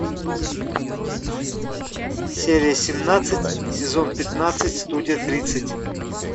серия семнадцать сезон пятнадцать студия тридцать